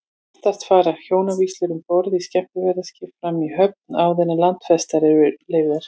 Oftast fara hjónavígslur um borð í skemmtiferðaskipum fram í höfn, áður en landfestar eru leystar.